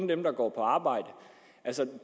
dem der går på arbejde